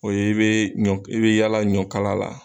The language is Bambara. O ye i be ɲɔ i be yaala ɲɔkala la